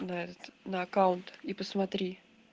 на этот на аккаунт и посмотри